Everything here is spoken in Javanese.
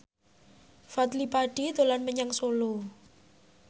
Fadly Padi dolan menyang Solo